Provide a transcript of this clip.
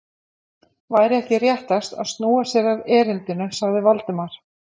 Væri ekki réttast að snúa sér að erindinu? sagði Valdimar.